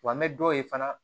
Wa an bɛ dɔw ye fana